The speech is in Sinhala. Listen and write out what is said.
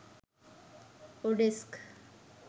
odesk